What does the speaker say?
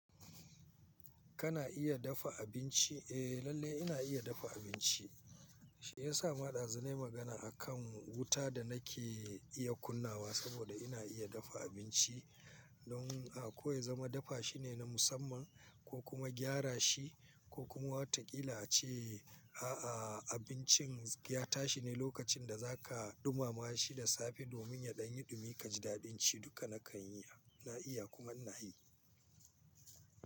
Kana iya dafa abinci? Eh lalle ina iya dafa abinci. Shi ya sa ma ɗazu nayi magana akan wuta da nake iya kunnawa saboda ina iya dafa abinci. Don a ko ya zama dafa shine na musamman ko kuma gyara shi ko kuma wataƙila ce a a abincin ya tashi ne lokacin da za ka ɗumamawa shi da safe domin ya ɗan yi dumi ka ji daɗin ci duka na kan yi. Na iya kuma ina yi.